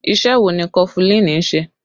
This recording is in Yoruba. Ìṣe wo ni kọfulin ń ṣe?